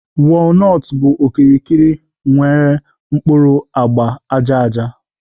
Walnuts bụ okirikiri nwere mkpuru agba aja aja